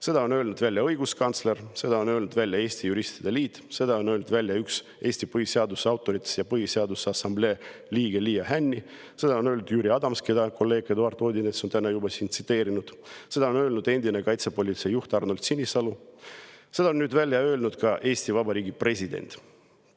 Seda on öelnud õiguskantsler, seda on öelnud Eesti Juristide Liit, seda on öelnud üks Eesti põhiseaduse autoritest ja Põhiseaduse Assamblee liige Liia Hänni, seda on öelnud Jüri Adams, keda kolleeg Eduard Odinets on täna juba tsiteerinud, seda on öelnud endine kaitsepolitseijuht Arnold Sinisalu, seda on nüüd öelnud ka Eesti Vabariigi president.